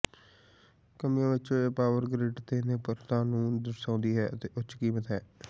ਕਮੀਆਂ ਵਿੱਚੋਂ ਇਹ ਪਾਵਰ ਗਰਿੱਡ ਤੇ ਨਿਰਭਰਤਾ ਨੂੰ ਦਰਸਾਉਂਦੀ ਹੈ ਅਤੇ ਉੱਚ ਕੀਮਤ ਹੈ